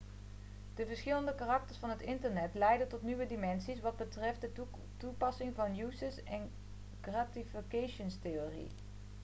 de verschillende karakters van het internet leiden tot nieuwe dimensies wat betreft de toepassing van de uses & gratifications-theorie